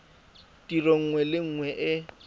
tiro nngwe le nngwe e